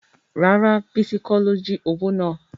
Rárá bísí kọ́ ló jí owó náà